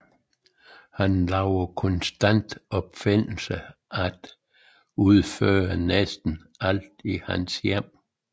Han laver konstant opfindelser til at udføre næsten alt i hans hjem